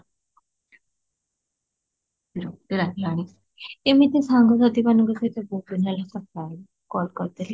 ଏମିତି ସାଙ୍ଗ ମାନଙ୍କ ସହିତ ମତେ ମୁଁ ଭଲ ପାଏନି, call କରିଦେଲି